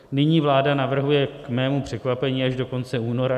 Nyní vláda navrhuje k mému překvapení až do konce února.